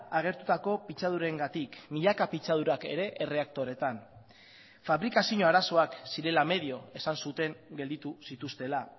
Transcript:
agertutako pitzadurengatik milaka pitzadurak ere erreaktoretan fabrikazio arazoak zirela medio esan zuten gelditu zituztela